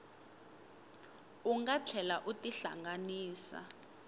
u nga tlhela u tihlanganisa